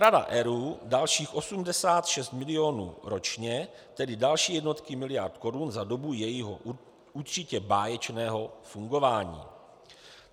Rada ERÚ dalších 86 milionů ročně, tedy další jednotky miliard korun za dobu jejího - určitě báječného - fungování.